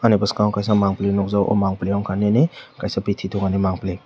ani bwskango kaisa mangpili nukjakgo oh mangpili ungkha nini kaisa bithi dukanni mangpili.